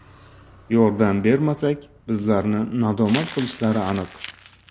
Yordam bermasak, bizlarni nadomat qilishlari aniq.